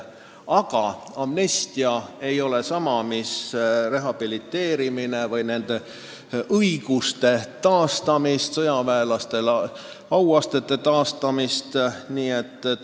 Aga amnestia ei ole sama mis rehabiliteerimine või nende õiguste taastamine, sõjaväelastele auastmete tagasiandmine.